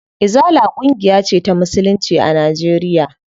Izala ƙungiya ce ta musulunci a Najeriya.